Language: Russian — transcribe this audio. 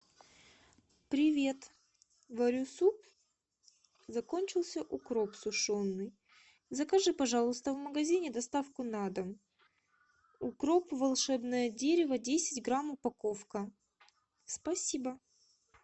привет варю суп закончился укроп сушеный закажи пожалуйста в магазине доставку на дом укроп волшебное дерево десять грамм упаковка спасибо